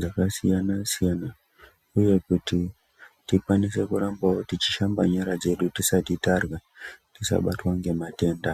dzakasiyana-siyana, uye kuti tikwanise kurambavo tichishamba nyara dzedu tisati tarya, tisabatwa ngematenda.